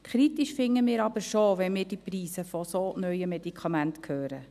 Kritisch finden wir es aber schon, wenn wir die Preise von solch neuen Medikamenten hören.